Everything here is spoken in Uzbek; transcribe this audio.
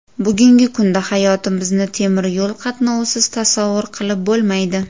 Bugungi kunda hayotimizni temir yo‘l qatnovisiz tasavvur qilib bo‘lmaydi.